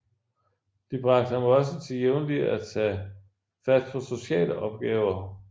De bragte ham også til jævnlig at tage fat på sociale opgaver